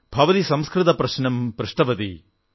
ഭവതീ സംസ്കൃത പ്രശ്നം പൃഷ്ടവതീ